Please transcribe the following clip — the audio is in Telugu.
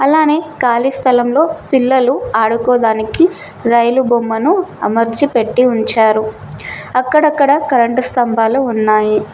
అలానే ఖాళీ స్థలంలో పిల్లలు ఆడుకోదానికి రైలు బొమ్మను అమర్చి పెట్టి ఉంచారు అక్కడక్కడ కరెంటు స్తంభాలు ఉన్నాయి.